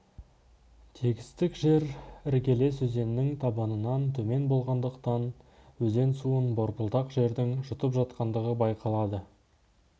тегістік жер іргелес өзеннің табанынан төмен болғандықтан өзен суын борпылдақ жердің жұтып жатқандығы байқалады